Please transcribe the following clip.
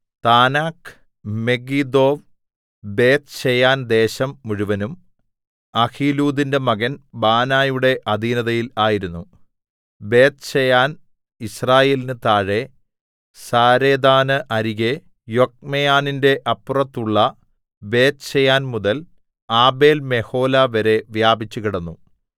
താനാക്ക് Megiddo Beth Shean ദേശം മുഴുവനും ‌അഹീലൂദിന്റെ മകൻ ബാനയുടെ അധീനതയിൽ ആയിരുന്നു ബേത്ത്ശെയാൻ യിസ്രായേലിന് താഴെ സാരെഥാന് അരികെ യൊക്ക്മെയാമിന്റെ അപ്പുറത്തുള്ള ബേത്ത്ശെയാൻമുതൽ ആബേൽമെഹോലാവരെ വ്യാപിച്ചുകിടന്നു